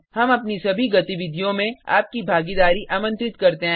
हम अपनी सभी गतिविधियों में आपकी भागीदारी आमंत्रित करते हैं